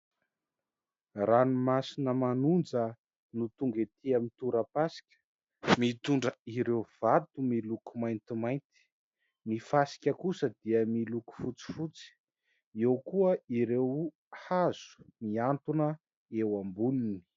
Ranomasina manonja no tonga ety amin'ny tora-pasika, mitondra ireo vato miloko maintimainty. Ny fasika kosa dia miloko fotsifotsy. Eo kosa ireo hazo mihantona eo amboniny.